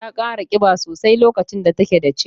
Ta kara kiba sosai lokacin da take da ciki.